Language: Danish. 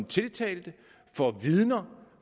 tiltalte for vidner